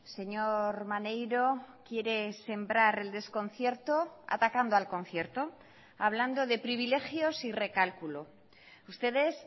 señor maneiro quiere sembrar el desconcierto atacando al concierto hablando de privilegios y recálculo ustedes